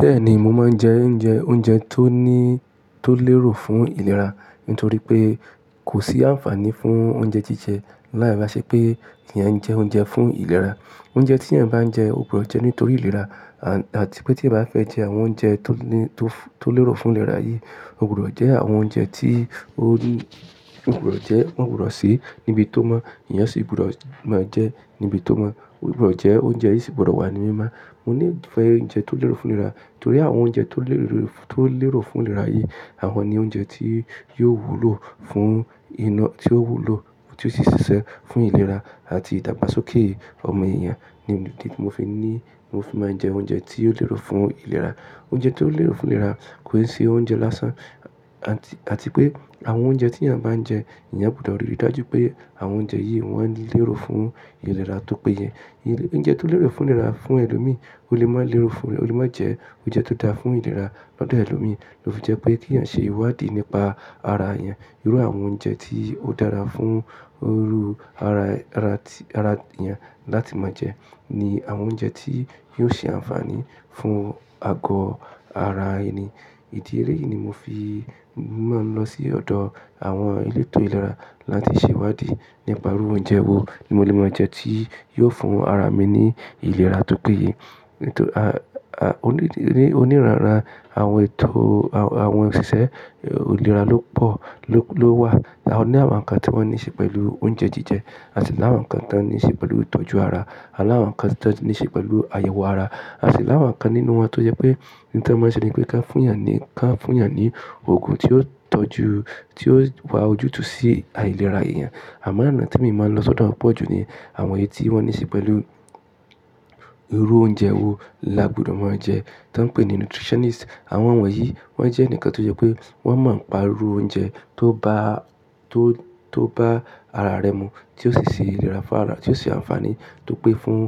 Bẹ́ẹ̀ni, mo máa ń jẹ oúnjẹ, oúnjẹ tó ní, tó lérò fún ìlera nítorí pé kò sí àǹfààní fún oúnjẹ jíjẹ. Láì bá ṣe pé ìyẹn jẹ oúnjẹ fún ìlera. Oúnjẹ tí ẹ̀yin bá ń jẹ, o gbọdọ̀ jẹ nítorí ìlera àti pé tí ẹ bá fẹ́ jẹ àwọn oúnjẹ tó ní, tó, tó lérò fún ìlera yí, o gbọdọ̀ jẹ àwọn oúnjẹ tí o ní, o gbọdọ̀ jẹ, o gbọdọ̀ se níbi tó mọ́, ìyẹn sì gbọdọ̀ máa jẹ níbi tó mọ́. O gbọdọ̀ jẹ oúnjẹ yìí sì gbọdọ̀ wà ní mímá. Mo ní ìfẹ́ oúnjẹ tó lérò fún ìlera torí àwọn oúnjẹ tó lérò, tó lérò fún ìlera yí, àwọn ni oúnjẹ tí yóò wúlò fún iná tí ó wúlò, tí ó sì ṣiṣẹ́ fún ìlera àti ìdàgbàsókè ọmọ èèyàn ni, ní, ní, mo fi ní, mo fi máa ń jẹ oúnjẹ tí ó lérò fún ìlera. Oúnjẹ tó lérò fún ìlera kò sí oúnjẹ lásán àti, àti pé àwọn oúnjẹ tí ẹ̀yin bá ń jẹ, ìyẹn gbọdọ̀ rí i dájú pé àwọn oúnjẹ yìí wọn lérò fún ìlera tó péye. Oúnjẹ tó lérò fún ìlera fún ẹlòmíì ó lè má lérò fún, ó lè má jẹ oúnjẹ tó dáa fún ìlera lọ́dọ̀ ẹlòmíì. Ó fi jẹ́ pé kí ẹ̀eyin ṣe ìwádìí nípa ara ẹ̀eyin. Irú àwọn oúnjẹ tí ó dára fún irú ara, ara tí, ara ẹ̀eyin láti máa jẹ ni àwọn oúnjẹ tí yóò ṣe àǹfààní fún àgọ́ ara ẹni. Ìdí eléyi yìí ni mo fi máa ń lọ sí ọ̀dọ̀ àwọn elétò ìlera láti ṣe ìwádìí nípa irú oúnjẹ wo ni mo lè máa jẹ tí yóò fún ara mi ní ìlera tó péye. Nítorí a, a, oní, oníranra àwọn ètò àwọn òṣìṣẹ́ ìlera ló pọ̀, ló, ló wà. A ní àwọn kan tí wọ́n níṣe pẹ̀lú oúnjẹ jíjẹ àti láwọn kan tí wọ́n níṣe pẹ̀lú ìtọ́jú ara A láwọn kan tí wọ́n níṣe pẹ̀lú àyẹ̀wò ara à si láwọn kan nínú wọn tó jẹ́ pé ní ẹ́n máa ń ṣe ni pé kí á fún ẹ̀yàn ní, kí á fún ẹ̀yàn ní òògùn tí ó tọ́jú, tí ó wá ojútùú sí àìlera èèyàn. Àmọ́ àná tí mo máa ń lọ sọ́dọ̀ wọ́n pọ̀jù ni àwọn èyí tí wọ́n níṣe pẹ̀lú irú oúnjẹ wo là gbọdọ̀ máa jẹ. Tán pè ní nutritionist. Àwọn ọ̀mọ̀ yìí wọ́n jẹ́ ǹkan tó jẹ́ pé wọ́n mọ̀ ọ́n pa irú oúnjẹ tó bá, tó, tó bá ara rẹ mu tí ó sì ṣe ìlera fún ara, tí ó ṣe àǹfààní tó pé fún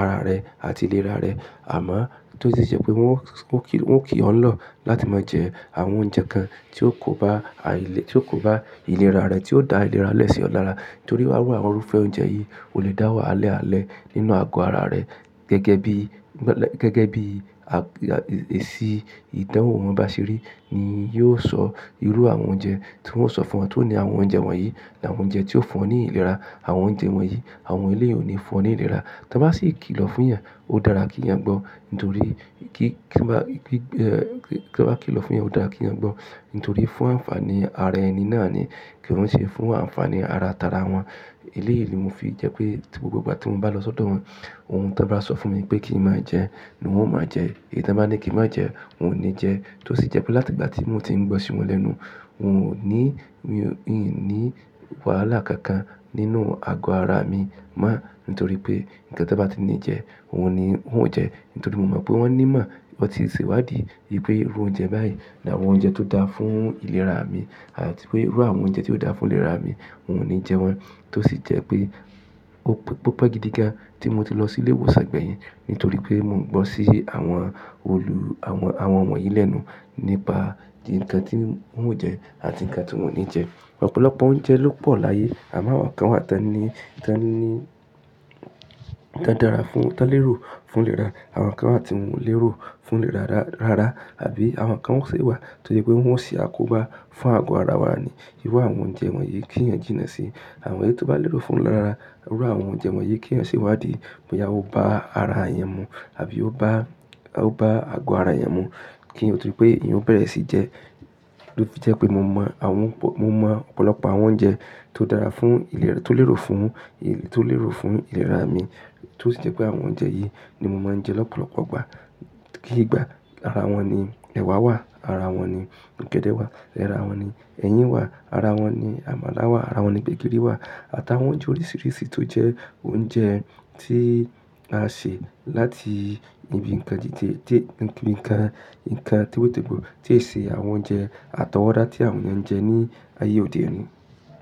ara rẹ àti ìlera rẹ. Àmọ́ tó sì sẹ́ pé wọn ó, wọn kì, wọn kì o ń lọ̀ láti máa jẹ àwọn oúnjẹ kan tí ó kò bá àìlé, tí ó kò bá ìlera rẹ, tí ó dá ìlera lẹ́sẹ̀ ọ́ lára. Torí irú àwọn irúfẹ́ oúnjẹ yìí ò lè dáwọ́ alẹ́ alẹ́ nínú àgọ́ ara rẹ gẹ́gẹ́ bí, gẹ́gẹ́ bí a, èsì ìdánwò wọn bá ṣe rí ni yóò sọ irú àwọn oúnjẹ tí wọn ó sọ fún wọn tó ní àwọn oúnjẹ wọ̀nyí làwọn oúnjẹ tí ó fún ọ ní ìlera. Àwọn oúnjẹ wọ̀nyí àwọn eléyìí ò ní fún ọ ní ìlera. Tán bá sì kí lọ fún ẹ̀yàn, ó dára kí ẹ̀yàn gbọ́. Nítorí kí, kí bá, kí, kí, kí bá kí lọ fún ẹ̀yàn, ó dára kí ẹ̀yàn gbọ́. Nítorí fún àǹfààní ara ẹni náà ni kí wọn ṣe fún àǹfààní ara tara wọn. Eléyìí ni mo fi jẹ́ pé gbogbo ìgbà tí mo bá lọ sọ́dọ̀ wọn, ohun tá bá sọ fún mi pé kí n máa jẹ ni wọn ó máa jẹ èyí tí wọ́n bá ní kí n má jẹ, n ò ní jẹ. Tó sì jẹ́ pé láti ìgbà tí mo ti ń gbọ́ sí wọn lẹ́nu, n ò ní, mio i ní wàhálà kankan nínú àgọ́ ara mi mọ́ nítorí pé ǹkan tí wọ́n bá ti ní jẹ, ohun ni, wọn ò jẹ nítorí mo mọ̀ pé wọn ní ìmọ̀ ọ̀tí ìṣèwádìí ì pé irú oúnjẹ báyìí làwọn oúnjẹ tó dáa fún ìlera mi àti pé irú àwọn oúnjẹ tí ó dáa fún ìlera mi, n ò ní jẹ wọ́n. Tó sì jẹ́ pé ó pópó gidi gan tí mo ti lọ sí ilé ìwòsàn gbẹ̀yìn nítorí pé mò ń gbọ́ sí àwọn olù, àwọn, àwọn wonyi yìí lẹ́nu nípa ǹkan tí wọn ò jẹ àti ǹkan tí wọn ò ní jẹ. Ọ̀pọ̀lọpọ̀ oúnjẹ ló pọ̀ láyé àmọ́ àwọn kan wà tan ẹni, tan ni, tan dára fún, tan lérò fún ìlera. Àwọn kan wà tí wọn ò lérò fún ra, rárá. Àbí àwọn kan wà sí ìwà tí ó jẹ́ pé wọn ò ṣe àkóbá fún àgọ́ ara wa ni. Irú àwọn oúnjẹ wọ̀nyí kí ẹ̀yin jìnnà sí. Àwọn èyí tó bá lérò fún wọn lára, irú àwọn oúnjẹ wọ̀nyí kí ẹ̀eyan ṣe ìwádìí pé ìyàwó bá ara ẹ̀eyan mu àbí ó bá, ó bá àgọ́ ara ẹ̀eyan mu kí wọn torí pé ìyẹn ó bẹ̀rẹ̀ sí jẹ. Ó fi jẹ́ pé mo mọ̀ àwọn, mo mọ̀ ọ̀pọ̀lọpọ̀ àwọn oúnjẹ tó dára fún ìlera, tó lérò fún, tó lérò fún ìlera mi. Tó sì jẹ́ pé àwọn oúnjẹ yìí ni mo máa ń jẹ lọ́pọ̀lọpọ̀ ìgbà. Kí ìgbà ara wọn ni ẹwà wà, ara wọn ni ọ̀gẹ̀dẹ̀ wà, ara wọn ni ẹyin wà, ara wọn ni àmàlà wà, ara wọn ni gbẹ̀gìrì wà àtàwọn oúnjẹ oríṣìíríṣìí tó jẹ́ oúnjẹ tí a ṣe láti ibi ǹkan jíjẹ, dé ibi ǹkan, ǹkan tòwetògbò tí èsì àwọn oúnjẹ àtọwọ́dá tí àwọn èèyàn ń jẹ ní ayé òde òní.